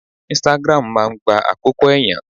Instagram máa ń gba àkókò ẹ̀yàn.